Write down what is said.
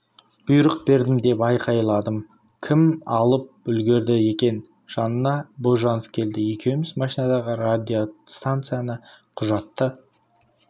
бұйрық бердім деп айқайладым кім алып үлгерді екен жаныма бозжанов келді екеуміз машинадағы радиостанцияны құжатты